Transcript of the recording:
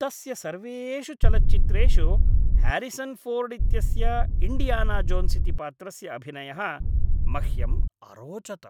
तस्य सर्वेषु चलच्चित्रेषु ह्यारिसन् फोर्ड् इत्यस्य इण्डियाना जोन्स् इति पात्रस्य अभिनयः मह्यम् अरोचत।